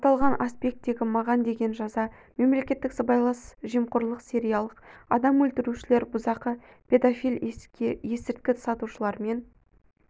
аталған аспекттегі маған деген жаза мемлекеттік сыбайлас жемқорлар сериялық адам өлтірушілер бұзақы педофил есірткі сатушылармен